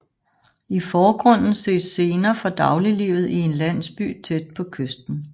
I forgrunden ses scener fra dagliglivet i en landsby tæt på kysten